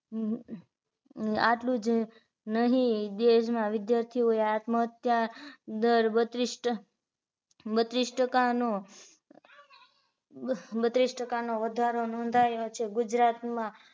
નુ આટલુજ નહિ દેશ માં વિદ્યાર્થીઓએ આત્મ હત્યા દર બત્રીસ બત્રીસ ટકા નો બત્રીસ ટકા નો વધારો નોધાયો છે ગુજરાત માં